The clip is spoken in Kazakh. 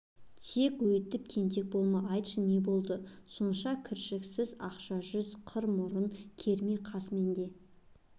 тек өйтіп тентек болма айтшы не болды сонша кіршіксіз ақша жүз қыр мұрын керме қас менде